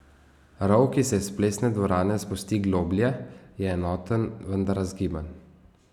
Rov, ki se iz Plesne dvorane spusti globlje, je enoten, vendar razgiban.